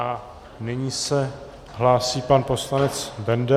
A nyní se hlásí pan poslanec Benda.